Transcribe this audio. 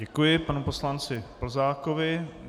Děkuji panu poslanci Plzákovi.